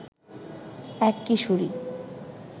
এক কিশোরী